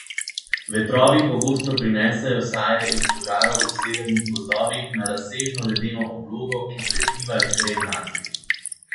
Vetrovi pogosto prinesejo saje iz požarov v severnih gozdovih na razsežno ledeno oblogo, ki prekriva Grenlandijo.